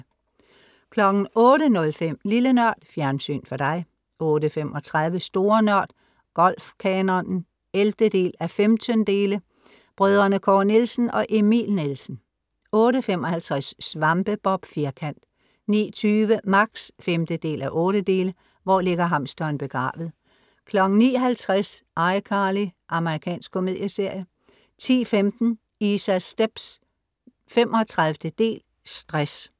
08:05 Lille NØRD Fjernsyn for dig 08:35 Store Nørd. Golf-kanonen (11:15) Brødrene Kåre Nielsen og Emil Nielsen 08:55 Svampebob Firkant 09:20 Max (5:8) "Hvor Ligger Hamsteren Begravet?" 09:50 ICarly. Amerikansk komedieserie 10:15 Isas Stepz (35) Stress